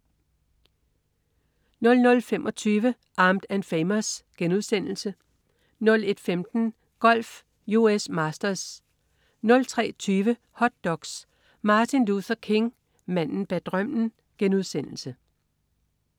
00.25 Armed & Famous* 01.15 Golf: US Masters 03.20 Hot doks: Martin Luther King: Manden bag drømmen*